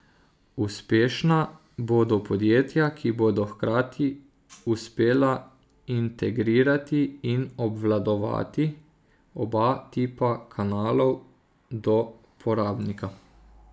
Uspešna bodo podjetja, ki bodo hkrati uspela integrirati in obvladovati oba tipa kanalov do porabnika.